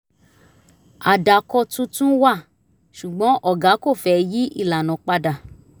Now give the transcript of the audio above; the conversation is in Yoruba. àdàkọ tuntun wà ṣùgbọ́n ọ̀gá kò fẹ́ yí ìlànà padà